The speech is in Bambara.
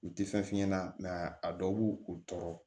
U tɛ fɛn f'i ɲɛna mɛ a dɔw b'u tɔɔrɔ